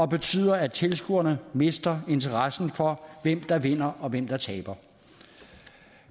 betyder at tilskuerne mister interesse for hvem der vinder eller taber